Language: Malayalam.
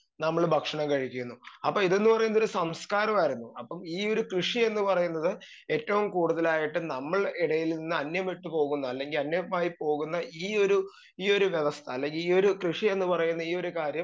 സ്പീക്കർ 2 നമ്മള് ഭക്ഷണം കഴിക്കുന്നു അപ്പൊ ഇത്ന്ന് പറയുന്നതൊരു സംസ്ക്കാരമായിരുന്നു അപ്പം ഈ ഒരു കൃഷിയെന്ന് പറയുന്നത് ഏറ്റോം കൂടുതലായിട്ട് നമ്മൾ എടേല് നിന്ന് അന്യം വിട്ട് പോവുന്ന അല്ലെങ്കി അന്യമായി പോകുന്ന ഈയൊരു ഈയൊരു വ്യവസ്ഥ അല്ലെങ്കി ഈയൊരു കൃഷിയെന്നു പറയുന്ന ഈയൊരു കാര്യം